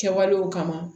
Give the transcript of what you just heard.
Kɛwalew kama